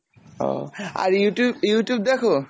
ও আর Youtube, Youtube দেখো?